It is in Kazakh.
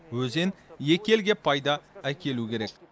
өзен екі елге пайда әкелу керек